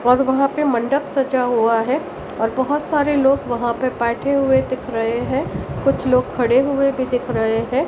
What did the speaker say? और वहां ले मंडप सजा हुआ है और बहुत सारे लोग वहां पे बैठे हुए दिख रहे है कुछ लोग खड़े हुए भी दिख रहे है।